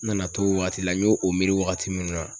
N nana to o wagati la n y'o o miiri wagati min na